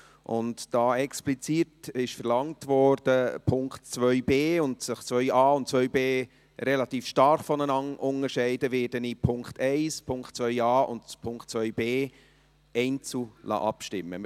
Und da dies explizit zum Punkt 2b verlangt wurde und sich Punkt 2a und 2b relativ stark voneinander unterscheiden, werde ich über Punkt 1, Punkt 2a und Punkt 2b einzeln abstimmen lassen.